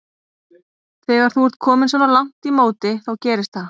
Þegar þú ert kominn svona langt í móti þá gerist það.